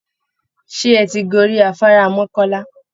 Ṣé ẹ̀ ti gorí afárá Mọ́kọ́lá?